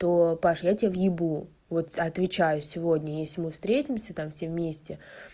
то паша я тебя въебу вот отвечаю сегодня если мы встретимся там все вместе